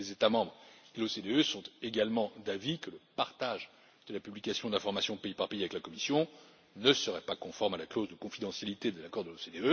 Les États membres et l'OCDE sont également d'avis que le partage de la publication d'informations pays par pays avec la Commission ne serait pas conforme à la clause de confidentialité de l'accord de l'OCDE.